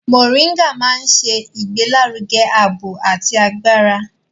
Mọ̀ríngà máa ń ṣe ìgbélárugẹ ààbò àti agbára.